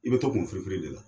I be to kun firifiri de la.